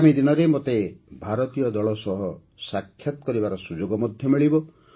ଆଗାମୀ ଦିନରେ ମୋତେ ଭାରତୀୟ ଦଳ ସହ ସାକ୍ଷାତ କରିବାର ସୁଯୋଗ ମଧ୍ୟ ମିଳିବ